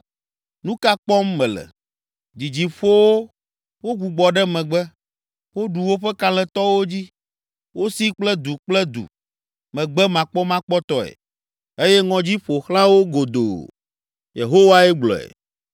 Nu ka kpɔm mele? Dzidzi ƒo wo, wogbugbɔ ɖe megbe, woɖu woƒe kalẽtɔwo dzi. Wosi kple du kple du megbemakpɔmakpɔtɔe eye ŋɔdzi ƒo xlã wo godoo.” Yehowae gblɔe.